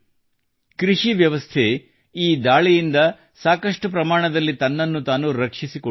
ಕೃಷಿವ್ಯವಸ್ಥೆಯು ಈ ದಾಳಿಯಿಂದ ಸಾಕಷ್ಟು ಪ್ರಮಾಣದಲ್ಲಿ ತನ್ನನ್ನು ತಾನು ರಕ್ಷಿಸಿಕೊಂಡಿದೆ